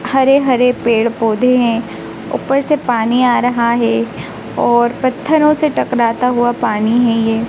हरे हरे पेड़ पौधे हैं ऊपर से पानी आ रहा है और पत्थरों से टकराता हुआ पानी हैं ये।